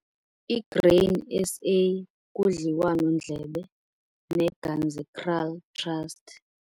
I-Grain SA kudliwano-ndlebe neGanzekraal Trust